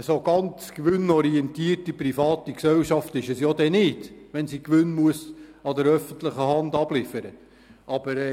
Eine gänzlich gewinnorientierte, private Gesellschaft ist es folglich nicht, wenn diese den Gewinn der öffentlichen Hand abliefern muss.